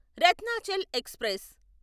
Ratnachal express